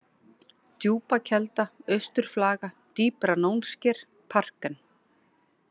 Djúpakelda, Austurflaga, Dýpra-Nónsker, Parken